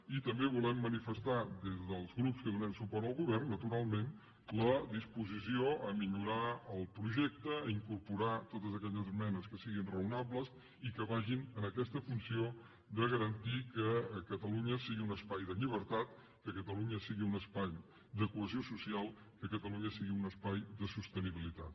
i també volem manifestar des dels grups que donem suport al govern naturalment la disposició a millorar el projecte i incorporar totes aquelles esmenes que siguin raonables i que vagin en aquesta funció de garantir que catalunya sigui un espai de llibertat que catalunya sigui un espai de cohesió social que catalunya sigui un espai de sostenibilitat